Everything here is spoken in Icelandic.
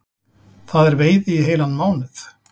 Það er veiði í heilan mánuð